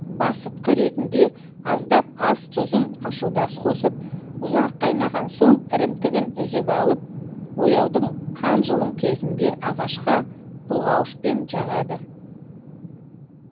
басытқы ретінде аздап ас тұзын ашудас қосып ұзақ қайнаған соң ірімтігін үзіп алып бояудың қанжылым кезінде ағашқа бұлғауышпен жағады